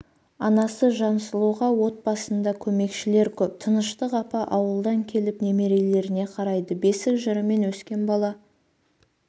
анасы жансұлуға отбасында көмекшілер көп тыныштық апа ауылдан келіп немерелеріне қарайды бесік жырымен өскен бала